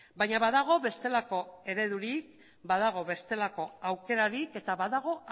baina badago bestelako eredurik badago bestelako aukerarik eta badago